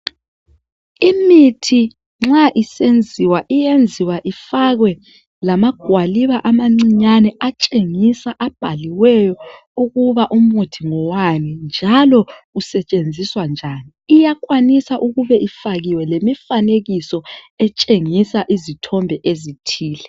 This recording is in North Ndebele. Imithi nxa isenziwa iyenzwa ifakwe lamagwaliba atshengisa ,abhaliweyo atshengisa ukuba umuthi ngowani njalo usetshenziswa njani ,iyakwanisa ukuba ifakiwe lomfanekiso otshengisa izithombe ezithile.